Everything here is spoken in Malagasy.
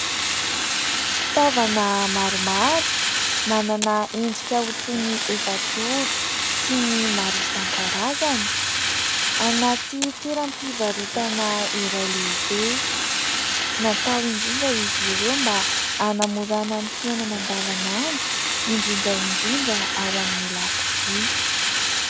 Fitaovana maromaro manana endrika ho toy ny efajoro sy ny maro isan-karazany. Anaty toeram-pivarotana iray lehibe ; natao indrindra izy ireo mba hanamorana ny fiainana andavanandro indrindra indrindra ao amin'ny lakozia.